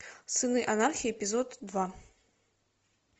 сыны анархии эпизод два